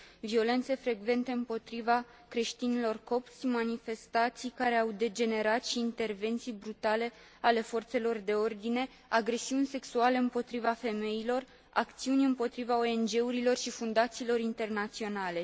Violențe frecvente împotriva creștinilor copți, manifestații care au degenerat și intervenții brutale ale forțelor de ordine, agresiuni sexuale împotriva femeilor, acțiuni împotriva ONG urilor și fundațiilor internaționale.